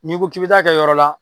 N'i ko k'i bɛ t'a kɛ yɔrɔ wɛrɛ la